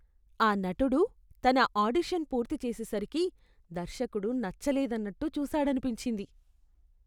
ఆ నటుడు తన ఆడిషన్ పూర్తి చేసేసరికి దర్శకుడు నచ్చలేదన్నట్టు చూసాడనిపించింది.